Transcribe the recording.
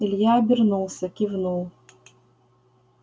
илья обернулся кивнул